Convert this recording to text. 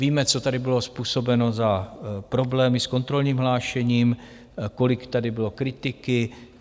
Víme, co tady bylo způsobeno za problémy s kontrolním hlášením, kolik tady bylo kritiky.